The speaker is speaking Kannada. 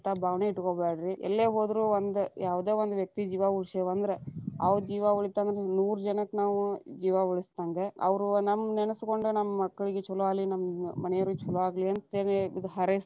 ಅಂತಾ ಭಾವನೆ ಇಟಗೋಬ್ಯಾಡ್ರಿ. ಎಲ್ಲೇ ಹೋದ್ರು ಒಂದ ಯಾವದೇ ಒಂದ ವ್ಯಕ್ತಿ ಜೀವಾ ಉಳಸೆವಂದ್ರ ಅವ್ರ ಜೀವಾ ಉಳಿತಂದ್ರ ನೂರಜನಕ್ಕ ನಾವು ಜೀವಾ ಉಳಸದ್ಹಂಗ, ಅವ್ರು ನಮ್ಮ ನೆನಸಗೊಂಡ ನಮ್ಮ ಮಕ್ಕಳಿಗ ಛಲೋ ಆಗಲಿ, ನಮ್ಮ ಮನಿಯವರ್ಗ ಛಲೋ ಆಗಲಿ ಅಂತ್ಹೇಳಿ ಹಾರೈಸತಾರ.